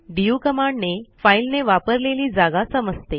DU कमांडने फाईलने वापरलेली जागा समजते